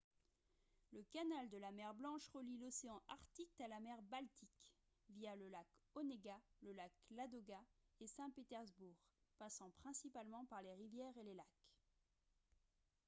le canal de la mer blanche relie l'océan arctique à la mer baltique via le lac onega le lac ladoga et saint-pétersbourg passant principalement par les rivières et les lacs